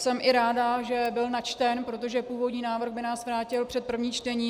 Jsem i ráda, že byl načten, protože původní návrh by nás vrátil před první čtení.